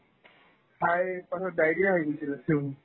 খাই পাছত diarrhea হৈ গৈছিলে চোন